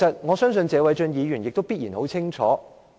我相信謝偉俊議員必然很清楚。